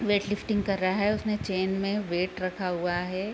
Wait lifting कर रहा है उसने चेन में वेट रखा हुआ है।